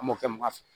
An m'o kɛ mɔgɔ fɛ